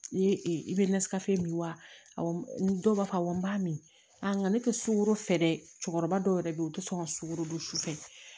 Ne e bɛ nasikasɛ min wa awɔ n dɔw b'a fɔ awɔ n b'a min nka ne tɛ sukoro fɛ dɛ cɛkɔrɔba dɔw yɛrɛ bɛ yen u tɛ sɔn ka sukoro dun su fɛ